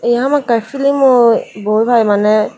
ebe hamakkai film ooh bhoi paai maneh.